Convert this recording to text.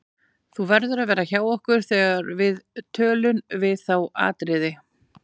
Þú verður að vera hjá okkur þegar við tölun við þá Atriði.